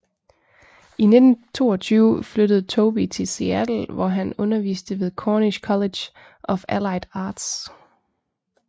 I 1922 flyttede Tobey til Seattle hvor han underviste ved Cornish College of Allied Arts